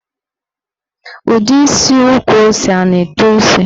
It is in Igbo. Ụdị isi ukwu ose a na-eto isi?